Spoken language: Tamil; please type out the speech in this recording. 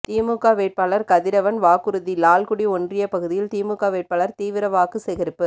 திமுக வேட்பாளர் கதிரவன் வாக்குறுதி லால்குடி ஒன்றிய பகுதியில் திமுக வேட்பாளர் தீவிர வாக்கு சேகரிப்பு